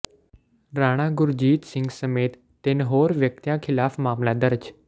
ਰਾਣਾ ਗੁਰਜੀਤ ਸਿੰਘ ਸਮੇਤ ਤਿੰਨ ਹੋਰ ਵਿਅਕਤੀਆਂ ਖਿਲਾਫ ਮਾਮਲਾ ਦਰਜ